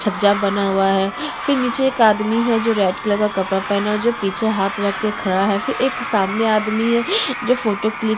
छज्जा बना हुआ है फिर नीचे एक आदमी है जो रेड कलर का कपड़ा पहना है और जो पिछे हाथ रख कर खड़ा है फिर एक सामने आदमी है जो फोटो क्लिक --